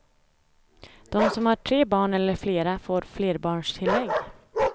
De som har tre barn eller flera får flerbarnstilllägg.